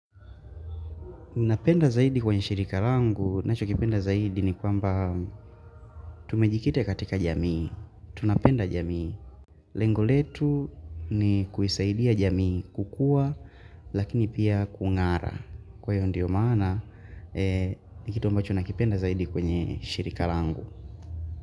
Napenda zaidi kwenye shirika langu, nacho kipenda zaidi ni kwamba tumejikite katika jamii, tunapenda jamii, lengoletu ni kuisaidia jamii kukua lakini pia kungara. Kwa hiyo ndio maana, nikitu amba cho na kipenda zaidi kwenye shirika langu.